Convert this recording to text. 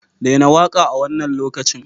Daina waƙa a wannan lokacin!